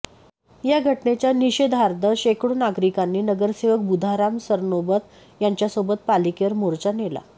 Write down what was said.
या घटनेच्या निषेधार्थ शेकडो नागरिकांनी नगरसेवक बुधाराम सरनोबत यांच्यासोबत पालिकेवर मोर्चा नेला